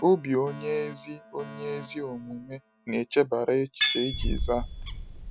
“Obi onye ezi onye ezi omume na-echebara echiche iji zaa.”